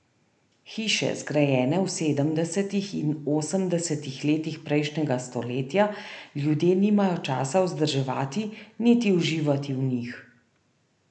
Hiše, zgrajene v sedemdesetih in osemdesetih letih prejšnjega stoletja ljudje nimajo časa vzdrževati niti uživati v njih.